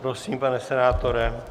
Prosím, pane senátore.